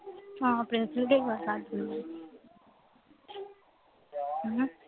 ਹਾਂ ਪ੍ਰਿੰਸ ਵਰਗਾ ਹੀ